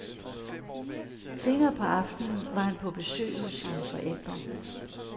Senere på aftenen var han på besøg hos sine forældre.